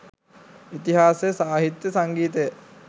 ඉතිහාසය සාහිත්‍ය සංගීතය